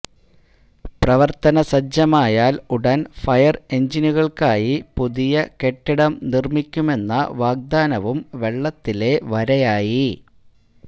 പ്രവർത്തനസജ്ജമായാൽ ഉടൻ ഫയർ എൻജിനുകള്ക്കായി പുതിയ കെട്ടിടം നിർമിക്കുമെന്ന വാഗ്ദാനവും വെള്ളത്തിലെ വരയായി